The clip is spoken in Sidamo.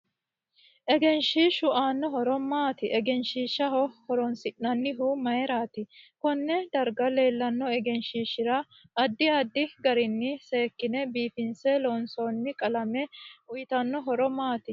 Egenshiishu aano horo maati egenshiisaha horoonsinanihu mayiirati konne darga leelano egenshiishira addi addi garini sekekine biifinse loonsooni qalame uyiitanno horo maati